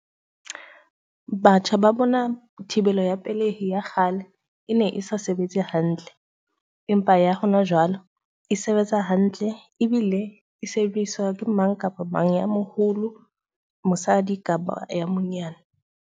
Batjha ba bona thibelo ya pelehi ya kgale e ne e sa sebetse hantle. Empa ya hona jwalo e sebetsa hantle, ebile e sebediswa ke mang kapa mang ya moholo, mosadi kapa ya monyane.